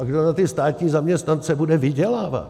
A kdo na ty státní zaměstnance bude vydělávat?